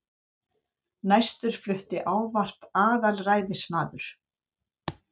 Næstur flutti ávarp aðalræðismaður